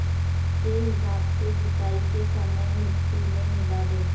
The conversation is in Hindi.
के हिसाब से जुताई के समय मिटटी में मिला दें